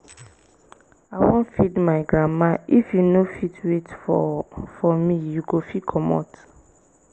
i wan feed my grandma if you no fit wait for for me you go fit comot